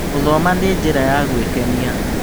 Gũthoma nĩ njĩra ya gwĩkenia.